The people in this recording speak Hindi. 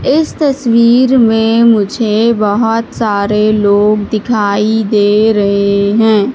इस तस्वीर में मुझे बहोत सारे लोग दिखाई दे रहे हैं।